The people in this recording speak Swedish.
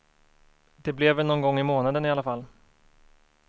Det blev väl någon gång i månaden i alla fall.